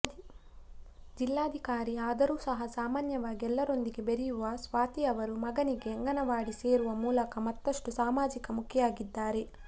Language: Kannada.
ಜಿಲ್ಲಾಧಿಕಾರಿ ಆದರೂ ಸಹ ಸಾಮಾನ್ಯವಾಗಿ ಎಲ್ಲರೊಂದಿಗೆ ಬೆರೆಯುವ ಸ್ವಾತಿ ಅವರು ಮಗನಿಗೆ ಅಂಗನವಾಡಿಗೆ ಸೇರಿಸುವ ಮೂಲಕ ಮತ್ತಷ್ಟು ಸಾಮಾಜಿಕ ಮುಖಿಯಾಗಿದ್ದಾರೆ